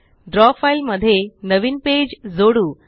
द्रव फ़ाइल मध्ये नवीन पेज जोडू